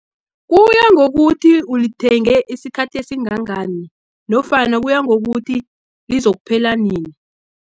Kuya ngokuthi ulithenge isikhathi esingangani, nofana kuyangokuthi, lizokuphela nini.